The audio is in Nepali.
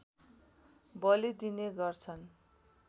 बलि दिने गर्छन्